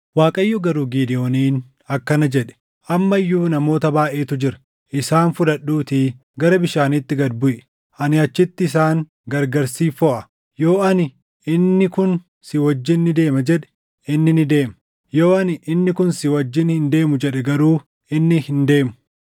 Waaqayyo garuu Gidewooniin akkana jedhe; “Amma iyyuu namoota baayʼeetu jira. Isaan fudhadhuutii gara bishaaniitti gad buʼi; ani achitti isaan gargari siif foʼa. Yoo ani, ‘Inni kun si wajjin ni deema’ jedhe, inni ni deema; yoo ani, ‘Inni kun si wajjin hin deemu’ jedhe garuu inni hin deemu.”